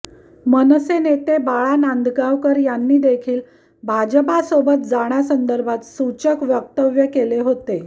मनसे नेते बाळा नांदगावकर यांनी देखील भाजपासोबत जाण्यासंदर्भात सूचक वक्तव्य केले होते